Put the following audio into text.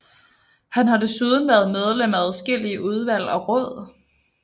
Han har desuden været medlem af adskillige udvalg og råd